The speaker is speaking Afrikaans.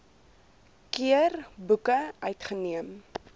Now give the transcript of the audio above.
keer boeke uitgeneem